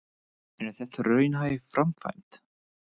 En er þetta raunhæf framkvæmd?